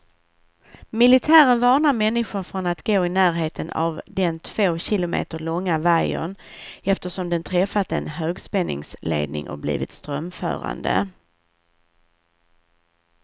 Militären varnar människor från att gå i närheten av den två kilometer långa vajern, eftersom den träffat en högspänningsledning och blivit strömförande.